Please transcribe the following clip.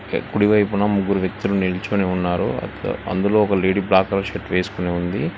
కుడివైపున ముగ్గురు వ్యక్తులు నిల్చుని ఉన్నారు ఆ అందులో ఒక లేడీ బ్లాక్ కలర్ షర్ట్ వేసుకొని ఉంది.